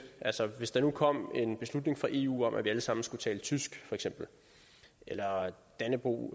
altså hvis der nu kom en beslutning fra eu om at vi alle sammen skulle tale tysk eller at dannebrog